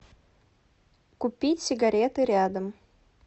купить сигареты рядом